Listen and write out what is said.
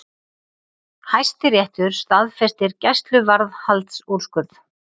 Hæstiréttur staðfestir gæsluvarðhaldsúrskurð